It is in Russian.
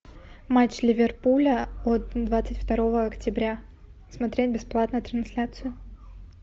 матч ливерпуля от двадцать второго октября смотреть бесплатно трансляцию